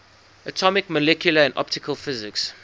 atomic molecular and optical physics